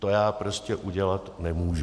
To já prostě udělat nemůžu.